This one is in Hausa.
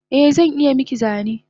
Eh zan iya miki zane